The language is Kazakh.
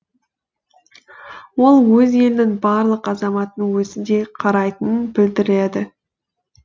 ол өз елінің барлық азаматын өзіндей қарайтынын білдіреді